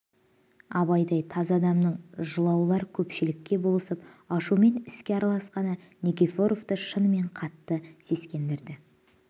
абайдай таза адамның жылаулар көпшілікке болысып ашумен іске араласқаны никифоровты шынымен қатты сескендірді